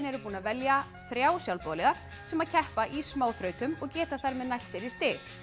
eru búin að velja þrjá sjálfboðaliða sem keppa í smáþrautum og geta þar með nælt sér í stig